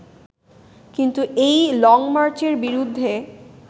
কিন্তু এই লংমার্চের বিরুদ্ধে